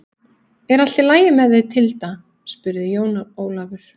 Er allt í lagi með þig Tilda spurði Jón Ólafur.